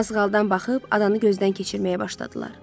Mazğaldan baxıb adanı gözdən keçirməyə başladılar.